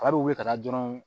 Kaba bɛ wuli ka taa dɔrɔn